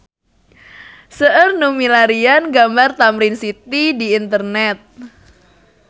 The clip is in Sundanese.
Seueur nu milarian gambar Tamrin City di internet